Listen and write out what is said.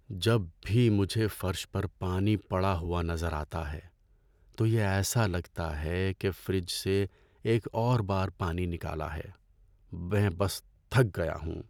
جب بھی مجھے فرش پر پانی پڑا ہوا نظر آتا ہے تو یہ ایسا لگتا ہے کہ فریج سے اور ایک اور بار پانی نکالا ہے۔ میں بس تھک گیا ہوں۔